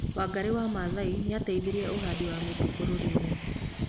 Wangarĩ wa Mathai nĩateithirie ũhandi wa mĩtĩ bũrũri-ini